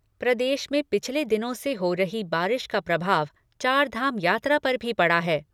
प्रदेश में पिछले दिनों से हो रही बारिश का प्रभाव चारधाम यात्रा पर भी पड़ा है।